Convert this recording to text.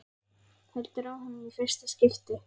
Heldur á honum í fyrsta skipti.